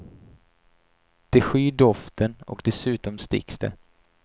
De skyr doften och dessutom sticks det.